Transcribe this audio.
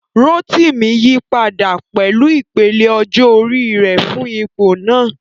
Rotimi yí padà pẹ̀lú ìpele ọjọ́ orí rẹ̀ fún ipò náà.